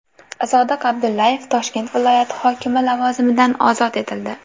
Sodiq Abdullayev Toshkent viloyati hokimi lavozimidan ozod etildi.